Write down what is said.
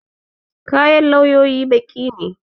Kayan lauyoyi baƙi ne.